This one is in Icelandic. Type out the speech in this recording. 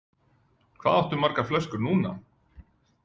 Hvað áttu margar flöskur núna?